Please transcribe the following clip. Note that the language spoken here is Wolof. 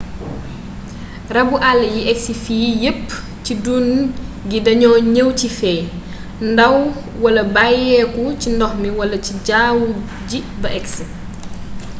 rabu àll yi agsi fii yépp ci dun gi dañoo ñëw ci feey ndaw wala bàyyeeku ci ndox mi wala ci jawwu ji ba agsi